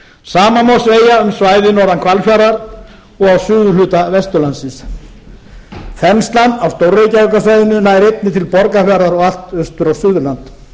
sama má segja um svæðið norðan hvalfjarðar og á suðurhluta vesturlandsins þenslan á stór reykjavíkursvæðinu nær einnig til borgarfjarðar og allt austur á suðurland